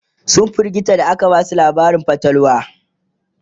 sun firgita da aka Basu labarin fatalwa